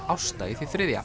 Ásta í því þriðja